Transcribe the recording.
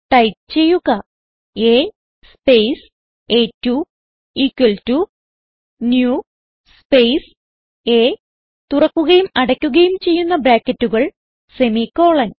type ചെയ്യുക A space അ2 equal to new space A തുറക്കുകയും അടക്കുകയും ചെയ്യുന്ന ബ്രാക്കറ്റുകൾ സെമിക്കോളൻ